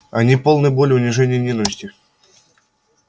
они полны боли унижения ненависти